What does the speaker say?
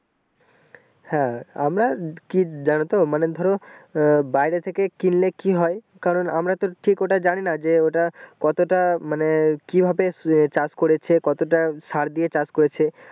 হ্যাঁ আমার কি জানতো মানে ধরো আহ বাইরে থেকে কিনলে কি হয় কারণ আমরা তো ওটা ঠিক জানি না যে ওটা কতটা মানে কি ভাবে চাষ করেছে কতটা সার দিয়ে চাষ করেছে ।